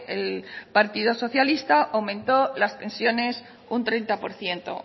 el partido socialistas aumentó las pensiones un treinta por ciento